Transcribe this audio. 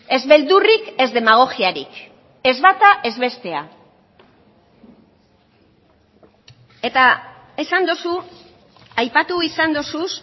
ez beldurrik ez demagogiarik ez bata ez bestea eta esan duzu aipatu izan duzu